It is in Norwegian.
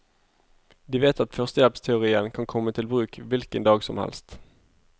De vet at førstehjelpsteorien kan komme til bruk hvilken dag som helst.